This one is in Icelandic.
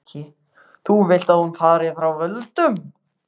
Breki: Þú vilt að hún fari frá völdum?